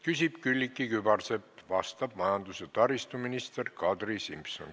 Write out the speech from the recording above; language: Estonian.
Küsib Külliki Kübarsepp, vastab majandus- ja taristuminister Kadri Simson.